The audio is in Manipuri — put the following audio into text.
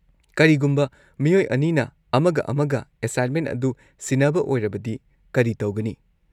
ꯀꯔꯤꯒꯨꯝꯕ ꯃꯤꯑꯣꯏ ꯑꯅꯤꯅ ꯑꯃꯒ ꯑꯃꯒ ꯑꯦꯁꯥꯏꯟꯃꯦꯟ ꯑꯗꯨ ꯁꯤꯟꯅꯕ ꯑꯣꯏꯔꯕꯗꯤ ꯀꯔꯤ ꯇꯧꯒꯅꯤ?